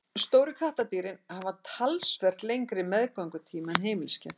stóru kattardýrin hafa talsvert lengri meðgöngutíma en heimiliskettir